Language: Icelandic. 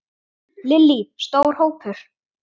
Lillý: Stór hópur?